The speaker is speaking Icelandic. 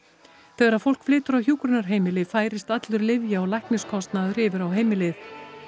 þegar fólk flytur á hjúkrunarheimili færist allur lyfja og lækniskostnaður yfir á heimilið